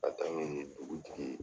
K'a taa ɲini dugutigi